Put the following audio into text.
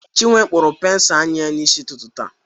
Chinwe kpụrụ pensụl anya ya n'isi ụtụtụ taa